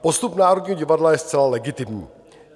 Postup Národního divadla je zcela legitimní.